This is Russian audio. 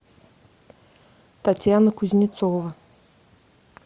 татьяна кузнецова